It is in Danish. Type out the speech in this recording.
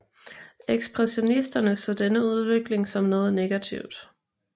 Ekspressionisterne så denne udvikling som noget negativt